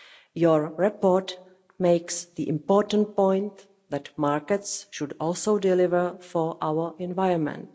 Your report makes the important point that markets should also deliver for our environment.